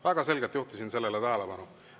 Väga selgelt juhtisin sellele tähelepanu.